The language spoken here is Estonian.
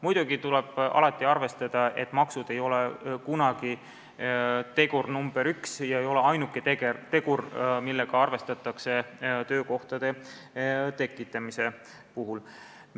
Muidugi tuleb alati arvestada, et maksud ei ole kunagi tegur nr 1 ega ole ainuke tegur, millega arvestatakse töökohtade tekitamise puhul.